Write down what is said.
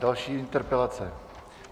Další interpelace.